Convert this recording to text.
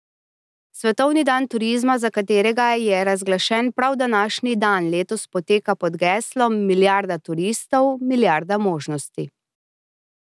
Svetovni dan turizma, za katerega je razglašen prav današnji dan, letos poteka pod geslom Milijarda turistov, milijarda možnosti.